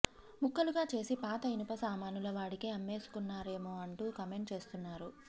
ముక్కలుగా చేసి పాత ఇనుప సామానుల వాడికి అమ్మేసుకున్నారేమో అంటూ కామెంట్ చేస్తున్నారు